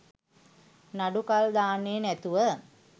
නඩු කල් දාන්නෙ නැතුව